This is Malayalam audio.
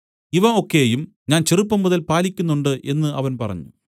ഇവ ഒക്കെയും ഞാൻ ചെറുപ്പംമുതൽ പാലിക്കുന്നുണ്ട് എന്നു അവൻ പറഞ്ഞു